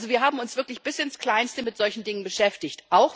Also wir haben uns wirklich bis ins Kleinste mit solchen Dingen beschäftigt.